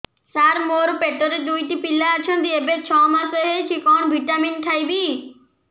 ସାର ମୋର ପେଟରେ ଦୁଇଟି ପିଲା ଅଛନ୍ତି ଏବେ ଛଅ ମାସ ହେଇଛି କଣ ଭିଟାମିନ ଖାଇବି